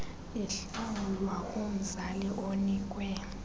ihlawulwa kumzali onikwe